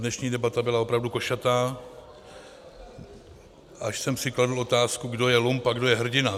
Dnešní debata byla opravdu košatá, až jsem si kladl otázku, kdo je lump a kdo je hrdina.